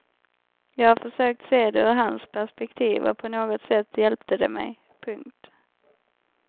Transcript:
Jag har försökt se det ur hans perspektiv och på något sätt hjälpte det mig. punkt